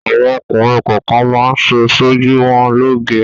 Àwọn ọkùnrin kọọkan máa ń ṣe ṣojú wọn lóoge.